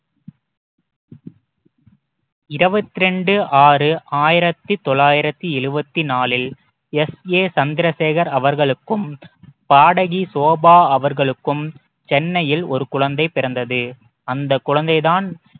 இருவத்தி ரெண்டு ஆறு ஆயிரத்தி தொள்ளாயிரத்தி எழுவத்தி நாளில் எஸ் எ சந்திரசேகர் அவர்களுக்கும் பாடகி ஷோபா அவர்களுக்கும் சென்னையில் ஒரு குழந்தை பிறந்தது அந்த குழந்தை தான்